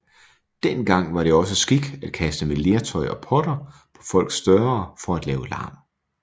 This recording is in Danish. Dengang var det også skik at kaste med lertøj og potter på folks døre for at lave larm